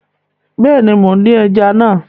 Bẹẹni, Mo n din ẹja naa